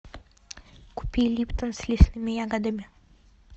купи липтон с лесными ягодами